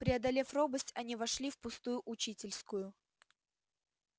преодолев робость они вошли в пустую учительскую